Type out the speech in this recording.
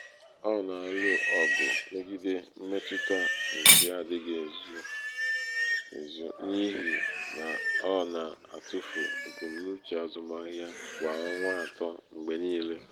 ọ na-alụ ọgụ megide mmetụta nke adịghị ezu ezu n’ihi na ọ na-atụfu ebumnuche azụmahịa kwa ọnwa atọ mgbe niile.